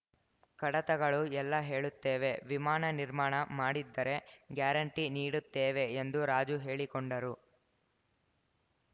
ಕಡತಗಳು ಎಲ್ಲ ಹೇಳುತ್ತೇವೆ ವಿಮಾನ ನಿರ್ಮಾಣ ಮಾಡಿದ್ದರೆ ಗ್ಯಾರಂಟಿ ನೀಡುತ್ತೇವೆ ಎಂದು ರಾಜು ಹೇಳಿಕೊಂಡರು